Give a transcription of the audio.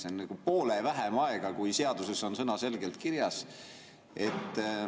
See on poole vähem aega, kui seaduses on sõnaselgelt kirjas.